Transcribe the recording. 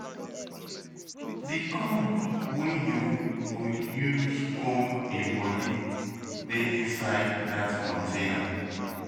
The comb wey you go use comb im body dey inside dat container